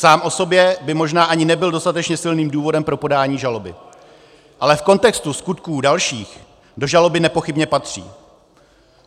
Sám o sobě by možná ani nebyl dostatečně silným důvodem pro podání žaloby, ale v kontextu skutků dalších do žaloby nepochybně patří.